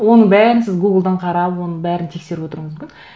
оның бәрін сіз гуглдан қарап оның бәрін тексеріп отыруыңыз мүмкін